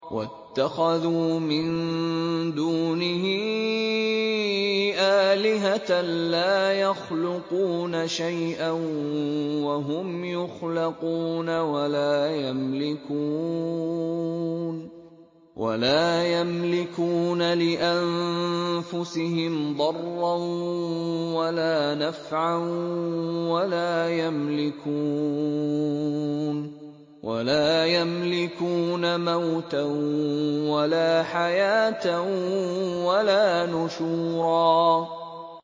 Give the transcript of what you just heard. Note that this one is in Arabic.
وَاتَّخَذُوا مِن دُونِهِ آلِهَةً لَّا يَخْلُقُونَ شَيْئًا وَهُمْ يُخْلَقُونَ وَلَا يَمْلِكُونَ لِأَنفُسِهِمْ ضَرًّا وَلَا نَفْعًا وَلَا يَمْلِكُونَ مَوْتًا وَلَا حَيَاةً وَلَا نُشُورًا